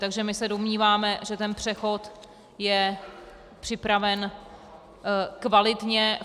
Takže my se domníváme, že ten přechod je připraven kvalitně.